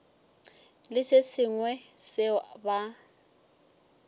le se sengwe seo ba